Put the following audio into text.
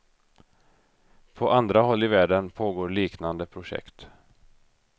På andra håll i världen pågår liknande projekt.